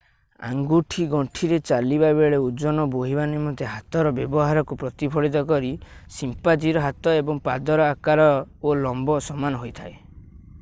ଆଙ୍ଗୁଠି ଗଣ୍ଠିରେ ଚାଲିବା ବେଳେ ଓଜନ ବୋହିବା ନିମନ୍ତେ ହାତର ବ୍ୟବହାରକୁ ପ୍ରତିଫଳିତ କରି ସିମ୍ପାଜିର ହାତ ଏବଂ ପାଦର ଆକାର ଓ ଲମ୍ବ ସମାନ ହୋଇଥାଏ